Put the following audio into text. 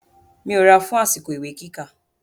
Mi ò ra fun àsìkò ìwé kíkà.